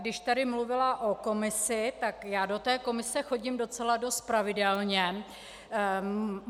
Když tady mluvila o komisi, tak já do té komise chodím docela dost pravidelně.